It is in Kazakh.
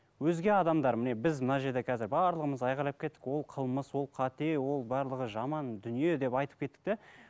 өзге адамдар міне біз мына жерде қазір барлығымыз айқайлап кеттік ол қылмыс ол қате ол барлығы жаман дүние деп айтып кеттік те